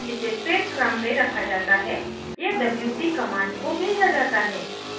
* जिसे फिर क्रम में रखा जाता है या wc command को भेजा जाता है